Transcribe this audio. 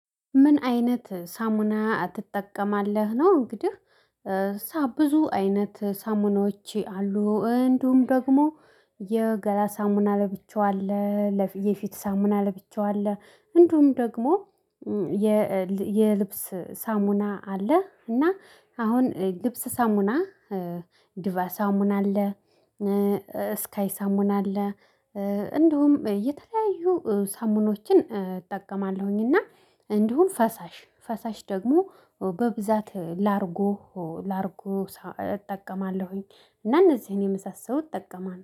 ምን አይነት ሳሙና ትጠቀማለህ ነው? እንግዲህ ሳብ ብዙ አይነት ሳሙናዎቼ አሉ እንዲሁም ደግሞ የገላ ሳሙና ለብቻው አለ። የፊት ሳሙና ለብቻው አለ። እንዲሁም ደግሞ የልብስ ሳሙና አለ እና አሁን ልብስ ሳሙና ዲቫ ሳሙና አለ። ስካይ ሳሙና አለ። እንደውም የተለያዩ ሳሙኖችን እጠቀማለሁኝ። እና እንዲሁም ፈሳሽ ፈሳሽ ደግሞ በብዛት ላርጎ ላርጎ እጠቀማለሁኝ። እና እነዚህን የመሳሰሉት እጠቀማለሁ